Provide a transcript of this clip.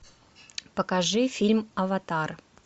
покажи фильм аватар